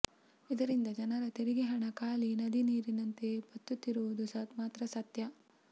ಇದರಿಂದ ಜನರ ತೆರಿಗೆ ಹಣ ಕಾಳಿ ನದಿ ನೀರಿನಂತೆ ಬತ್ತುತ್ತಿರುವುದು ಮಾತ್ರ ಸತ್ಯ